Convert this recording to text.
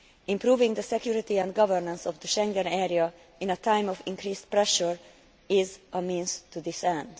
Improving the security and governance of the Schengen area in a time of increased pressure is a means to this end.